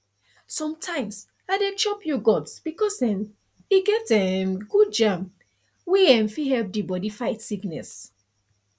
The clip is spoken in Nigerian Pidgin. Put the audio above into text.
sometimes i dey chop yoghurt because um e get um good germ wey um fit help the body fight sickness